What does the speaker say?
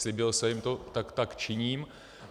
Slíbil jsem jim to, tak tak činím.